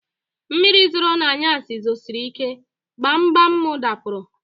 Mmiri zoro na anyasị zosirike, gbam gbam m dapụrụ